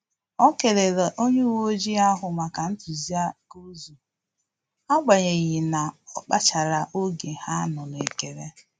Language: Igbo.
O kelere onye uwe ojii ahụ maka ntuziaka ụzọ, agbanyeghi na ọ kpachara oge ha nọ na-ekele